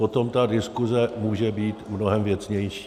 Potom ta diskuse může být mnohem věcnější.